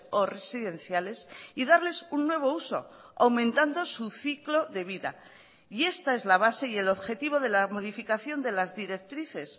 o residenciales y darles un nuevo uso aumentando su ciclo de vida y esta es la base y el objetivo de la modificación de las directrices